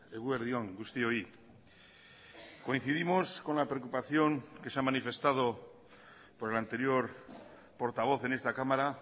eguerdi on guztioi coincidimos con la preocupación que se ha manifestado por el anterior portavoz en esta cámara